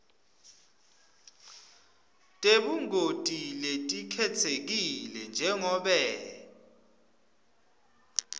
tebungoti letikhetsekile njengobe